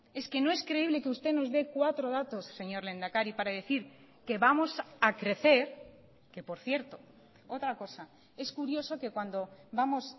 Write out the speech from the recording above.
es que no es creíble que usted nos dé cuatro datos señor lehendakari para decir que vamos a crecer que por cierto otra cosa es curioso que cuando vamos